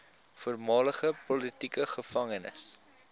voormalige politieke gevangenes